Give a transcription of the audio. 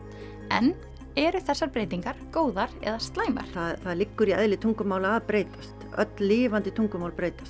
en eru þessar breytingar góðar eða slæmar það liggur í eðli tungumála að breytast öll lifandi tungumál breytast